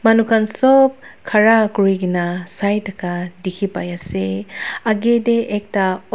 manu khan sop khara kori kena sai thaka dekhi pai ase agee te ekta of--